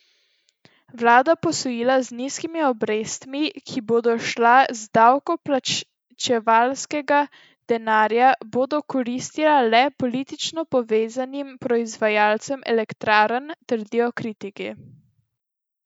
Vladna posojila z nizkimi obrestmi, ki bodo šla iz davkoplačevalskega denarja, bodo koristila le politično povezanim proizvajalcem elektrarn, trdijo kritiki.